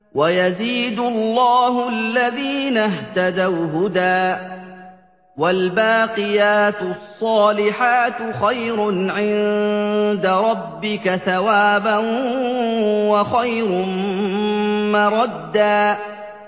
وَيَزِيدُ اللَّهُ الَّذِينَ اهْتَدَوْا هُدًى ۗ وَالْبَاقِيَاتُ الصَّالِحَاتُ خَيْرٌ عِندَ رَبِّكَ ثَوَابًا وَخَيْرٌ مَّرَدًّا